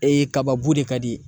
Ee kaba bu de ka di ye.